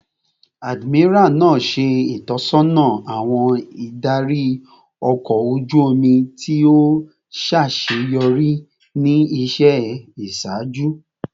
Admiral naa ṣe itọsọna awọn idari ọkọ oju omi ti o ṣaṣeyọri ni iṣẹ iṣaaju